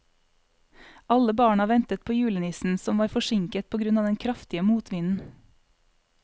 Alle barna ventet på julenissen, som var forsinket på grunn av den kraftige motvinden.